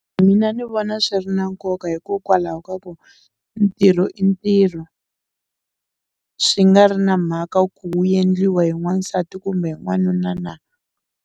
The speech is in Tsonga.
Mina ni vona swi ri na nkoka hikokwalaho ka ku ntirho i ntirho swi nga ri na mhaka ku wu endliwa hi n'wansati kumbe n'wanuna na.